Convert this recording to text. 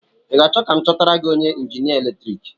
I ga-achọ ka m chọtara gị onye njinia eletrik?